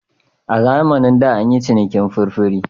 A zamanin da an yi cinikin furfure.